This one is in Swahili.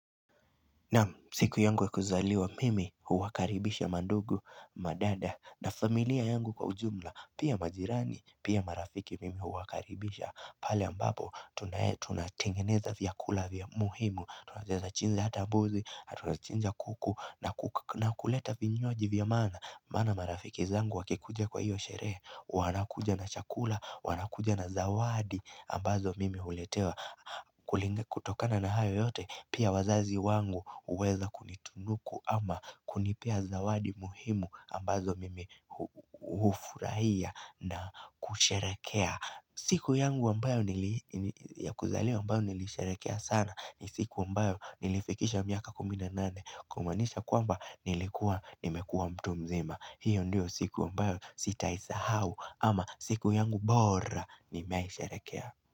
Naam siku yangu ya kuzaliwa mimi huwakaribisha mandugu madada na familia yangu kwa ujumla pia majirani pia marafiki mimi huwakaribisha Pali ambapo tunatengeneza vya kula vya muhimu tunatengeneza chinza hata buzi hatu chinza kuku na kuleta vinywaji vya mana Mana marafiki zangu wakikuja kwa hiyo sheree wanakuja na chakula wanakuja na zawadi ambazo mimi huletewa kutokana na hayo yote pia wazazi wangu uweza kunitunuku ama kunipia zawadi muhimu ambazo mima hufurahia na kusharekea siku yangu ambayo ya kuzaliowa ambayo nilisharekea sana ni siku ambayo nilifikisha miaka kumi na nane Kumanisha kwamba nilikuwa nimekuwa mtu mzima hiyo ndio siku ambayo sitaisahau ama siku yangu bora nimeaisharekea.